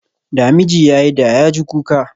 Da miji ya yi da, ya ji kuka